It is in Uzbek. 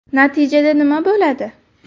Natijada nima bo‘ladi?